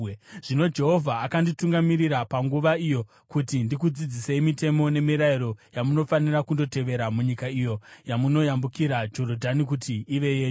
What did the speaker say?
Zvino Jehovha akanditungamirira panguva iyo kuti ndikudzidzisei mitemo nemirayiro yamunofanira kundotevera munyika iyo yamunoyambukira Jorodhani kuti ive yenyu.